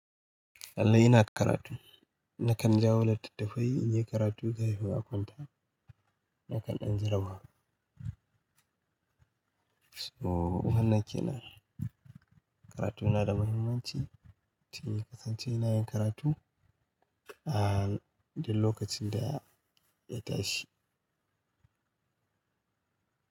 Lallai ina da karatu. Nakan jawo littattafai in yi karatu ga haihuwa kwanta, nakan ɗan jaraba. So wannan kenan karatu na da muhimmanci, ciki kasance ina yin karatu, ah duk lokacin da ya tashi.